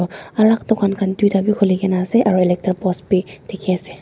alak dukan khan toida bi kulikina asae aro electric post bi diki asae.